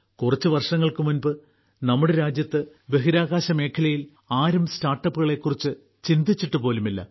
കുറച്ചു വർഷങ്ങൾക്ക് മുമ്പ് നമ്മുടെ രാജ്യത്ത് ബഹിരാകാശ മേഖലയിൽ ആരും സ്റ്റാർട്ടപ്പുകളെ കുറിച്ച് ചിന്തിച്ചിട്ടു പോലുമില്ല